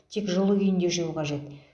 тек жылы күйінде жеу қажет